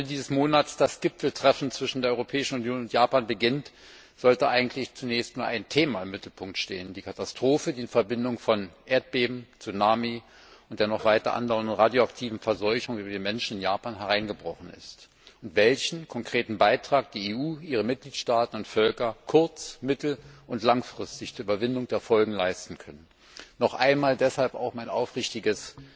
Wenn Ende dieses Monats das Gipfeltreffen zwischen der Europäischen Union und Japan beginnt, sollte eigentlich zunächst nur ein Thema im Mittelpunkt stehen die Katastrophe, die in Verbindung von Erdbeben, Tsunami und der noch anhaltenden radioaktiven Verseuchung über die Menschen in Japan hereingebrochen ist, und welchen konkreten Beitrag die EU, ihre Mitgliedstaaten und Völker kurz mittel und langfristig zur Überwindung der Folgen leisten können. Noch einmal deshalb auch mein aufrichtiges